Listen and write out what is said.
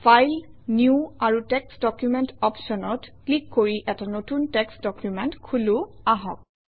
file new আৰু text document অপশ্যনত click কৰি এটা নতুন টেক্সট্ ডকুমেণ্ট খোলোঁ আহক